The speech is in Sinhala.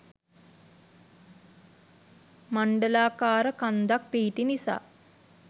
මණ්ඩලාකාර කන්දක් පිහිටි නිසා